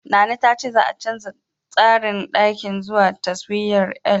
Nana ta ce za'a canja tsarin ɗakin girkin zuwa taswirar L.